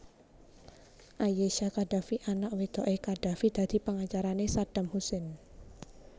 Ayesha Khadafi anak wedoké Qaddafi dadi pengacarané Saddam Hussein